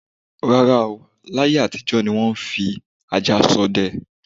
rárá o, láyé àtijọ ni wọ́n ń fi ajá ṣọdẹ.